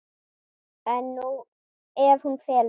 En ef hún felur sig?